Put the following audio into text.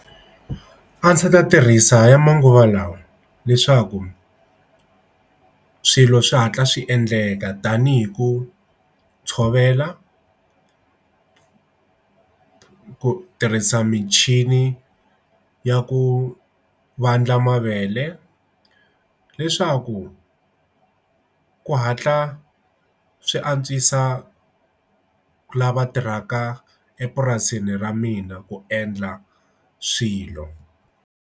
A ndzi ta tirhisa ya manguva lawa leswaku swilo swi hatla swi endleka tanihi ku tshovela ku tirhisa michini ya ku vandla mavele leswaku ku hatla swi antswisa lava tirhaka epurasini ra mina ku endla swilo.